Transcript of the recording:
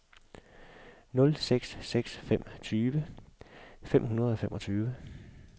nul seks seks fem tyve fem hundrede og femogtyve